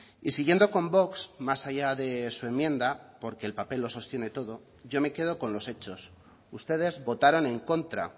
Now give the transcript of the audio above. y siguiendo con vox más allá de su enmienda porque el papel lo sostiene todo yo me quedo con los hechos ustedes votaron en contra